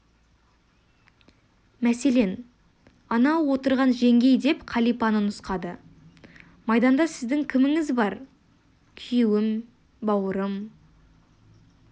мәселен анау отырған жеңгей деп қалипаны нұсқады майданда сіздің кіміңіз бар күйеуім бауырым